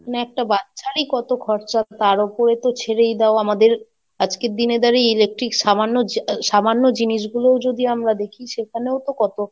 মানে একটা বাচ্চারই কত খরচা, তার ওপরে তো ছেড়েই দাও আমাদের, আজকের দিনে দাঁড়িয়ে electric সামান্য যা, সামান্য জিনিসগুলোও যদি আমরা দেখি সেখানেও তো কত,